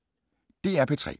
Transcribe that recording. DR P3